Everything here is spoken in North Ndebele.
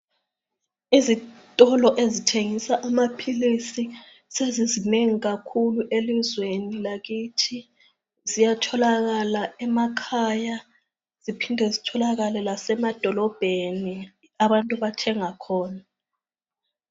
Izitolo ezithengisa amaphilisi sezizinengi kakhulu elizweni lakithi ziyatholakala emakhaya ziphinde zitholakale lasemadolobheni abantu abathenga khona.